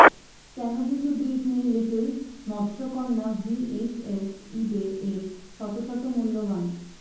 কেন কিছু Disney little মৎসকন্যা ভিএইচএস ইবে এ শত শত মূল্যবান